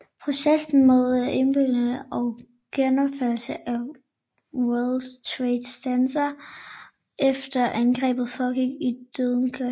Processen med oprydningen og genopførelse af World Trade Center efter angrebene foregik i døgndrift